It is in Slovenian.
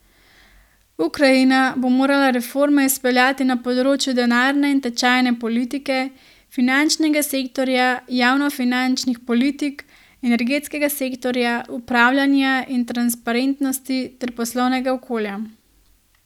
Ukrajina bo morala reforme izpeljati na področju denarne in tečajne politike, finančnega sektorja, javnofinančnih politik, energetskega sektorja, upravljanja in transparentnosti ter poslovnega okolja.